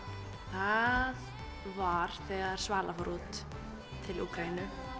það var þegar Svala fór út til Úkraínu